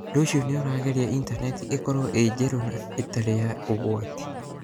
Ũndũ ũcio nĩ ũragiria Intaneti ĩkorũo ĩrĩ njerũ na ĩtarĩ ya ũgwati.